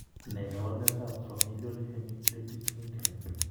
Ne kaabarunetap Familial hemiplegic migraine?